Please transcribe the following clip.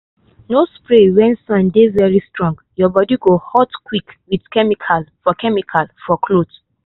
no spray when sun dey very strong—your body go hot quick with chemical for chemical for cloth.